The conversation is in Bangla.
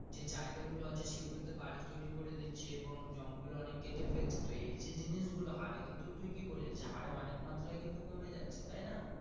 যে যাই গা গুলো আছে সেই গুলো তে বই তৌরি করে দিচ্ছে এবং জঙ্গল অনেক কেটে ফেলছে তো এই যে জিনিস গুলো হরে কিন্তু তুই কি বলিস যে হরে অনেক মাত্ত্রায় কিন্তু কমে যাচ্ছে তাই না।